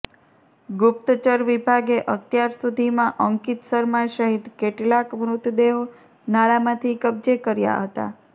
ગુપ્તચર વિભાગે અત્યાર સુધીમાં અંકિત શર્મા સહિત કેટલાક મૃતદેહો નાળામાંથી કબજે કર્યા હતા